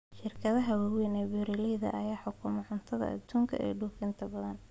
Shirkadaha waaweyn ee beeralayda ayaa xukuma cuntada aduunka ee dhoofinta badan.